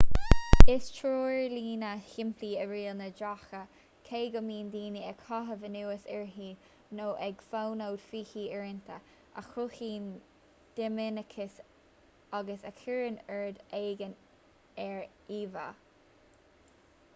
is treoirlíne shimplí í riail na dtréacha cé go mbíonn daoine ag caitheamh anuas uirthi nó ag fonóid fúithi uaireanta a chruthaíonn dinimiceas agus a chuireann ord éigin ar íomhá